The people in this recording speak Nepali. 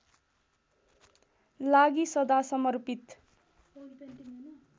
लागि सदा समर्पित